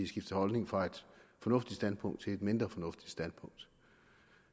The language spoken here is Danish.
skiftet holdning fra et fornuftigt standpunkt til et mindre fornuftigt standpunkt